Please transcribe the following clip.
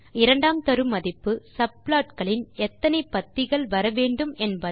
இரண்டாம் தரு மதிப்பு subplotகளில் எத்தனை பத்திகள் வர வேண்டும் என்பது